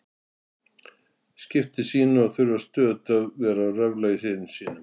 skipti sínu að þurfa stöðugt að vera að röfla í syni sínum.